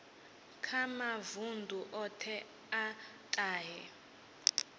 kha mavundu othe a tahe